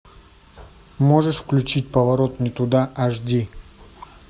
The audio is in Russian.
можешь включить поворот не туда аш ди